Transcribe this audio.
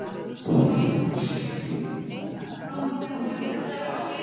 Þoldi ekki þetta argaþras í Lenu.